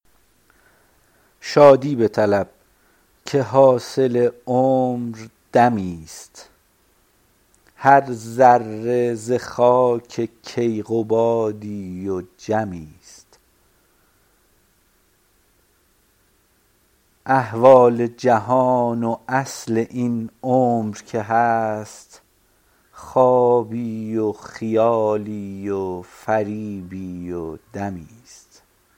شادی بطلب که حاصل عمر دمی است هر ذره ز خاک کیقبادی و جمی است احوال جهان و اصل این عمر که هست خوابی و خیالی و فریبی و دمی است